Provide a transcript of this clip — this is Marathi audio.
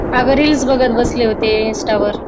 अग Reels बघत बसले होते Insta वर.